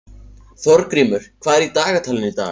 Þorgrímur, hvað er í dagatalinu í dag?